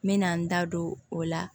N mɛna n da don o la